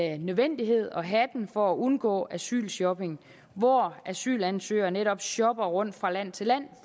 en nødvendighed at have den for at undgå asylshopping hvor asylansøgere netop shopper rundt fra land til land